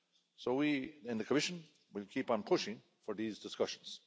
So we in the Commission will keep on pushing for these discussions.